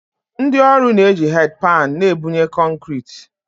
Ndị ọrụ na-eji headpan na-ebunye kọnkịrịtị